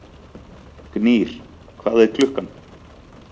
Gnýr, hvað er klukkan?